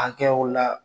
Hakɛyaw la